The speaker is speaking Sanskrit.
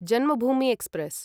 जन्मभूमि एक्स्प्रेस्